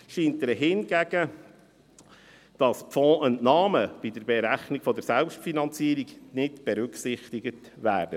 Problematisch scheint ihr hingegen, dass Fondsentnahmen bei der Berechnung der Selbstfinanzierung nicht berücksichtigt werden.